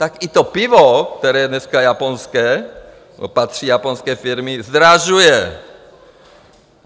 Tak i to pivo, které je dneska japonské, patří japonské firmě, zdražuje.